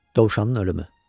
Dovşanın ölümü.